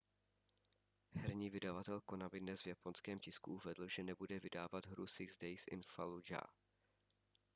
herní vydavatel konami dnes v japonském tisku uvedl že nebude vydávat hru six days in fallujah